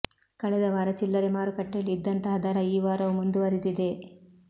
ಕಳೆದ ವಾರ ಚಿಲ್ಲರೆ ಮಾರುಕಟ್ಟೆಯಲ್ಲಿ ಇದ್ದಂತಹ ದರ ಈ ವಾರವೂ ಮುಂದುವರಿದಿದೆ